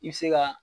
I bɛ se ka